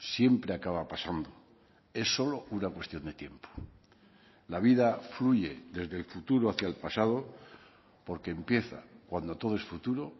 siempre acaba pasando es solo una cuestión de tiempo la vida fluye desde el futuro hacía el pasado porque empieza cuando todo es futuro